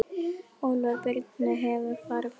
Útför Birnu hefur farið fram.